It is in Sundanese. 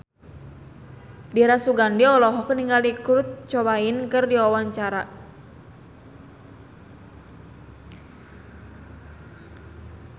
Dira Sugandi olohok ningali Kurt Cobain keur diwawancara